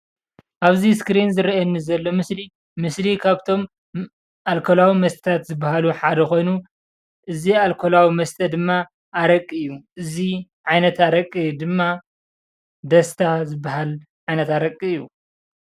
ኣብዚ እስክሪን ዝረአየኒ ዘሎ ምስሊ ምስሊ ካብቶም ኣልኮላዊ መስተታት ዝበሃሉ ሓደ ኮይኑ እዚ ኣልኮላዊ መስተ ድማ ኣረቂ እዩ፡፡ እዚ ዓይነት ኣረቂ ድማ ዳስታ ዝባሃል ዓይነት ኣረቂ እዩ፡፡